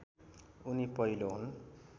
उनी पहिलो हुन्